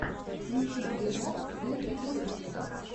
включи фильмок в духе готики